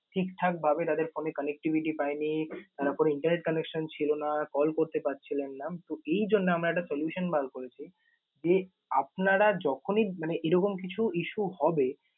ঠিকঠাক ভাবে তাদের phone এ connectivity পায়নি। তারা কোন internet connection ছিল না, call করতে পারছিলেন না তো এই জন্য আমরা একটা solution বার করেছি যে আপনারা যখনই মানে এরকম কিছু issue হবে